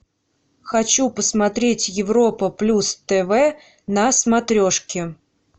хочу посмотреть европа плюс тв на смотрешке